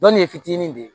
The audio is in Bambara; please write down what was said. Dɔnni ye fitinin de ye